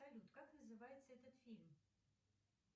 салют как называется этот фильм